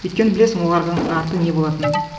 өйткені білесің олардың арты не болатынын